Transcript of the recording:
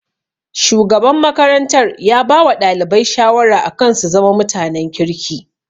Shugaban makarantar ya bawa ɗalibai shawara akan su zama mutanen kirki